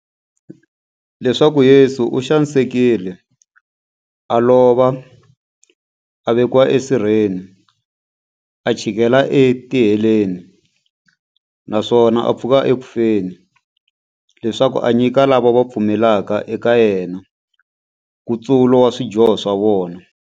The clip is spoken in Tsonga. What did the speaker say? Leswaku Yesu u xanisekile, a lova, a vekiwa esirheni, a chikela etiheleni, naswona a pfuka eku feni, leswaku a nyika lava va pfumelaka eka yena, nkutsulo wa swidyoho swa vona.